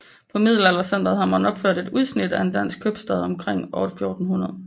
På Middelaldercentret har man opført et udsnit af en dansk købstad omkring år 1400